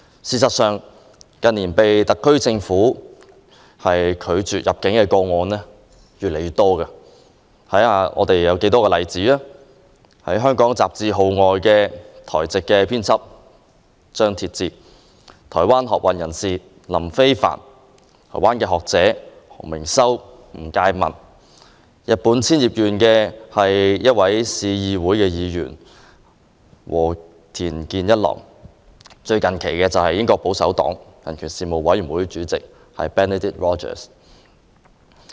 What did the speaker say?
事實上，近年被特區政府拒絕入境的個案越來越多，例如香港雜誌《號外》的台籍編輯張鐵志、台灣學運人士林飛帆、台灣學者何明修和吳介民、日本千葉縣的市議會議員和田健一郎，以及最近期的英國保守黨人權事務委員會副主席 Benedict ROGERS。